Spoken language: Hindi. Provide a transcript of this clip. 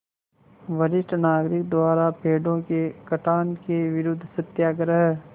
वरिष्ठ नागरिक द्वारा पेड़ों के कटान के विरूद्ध सत्याग्रह